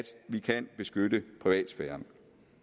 vi kan beskytte privatsfæren